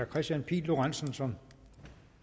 kristian pihl lorentzen som